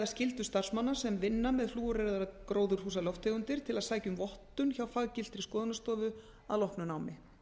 skyldu starfsmanna sem vinna með flúoreraðar gróðurhúsalofttegundir til að sækja um vottun hjá faggiltri skoðunarstofu að loknu námi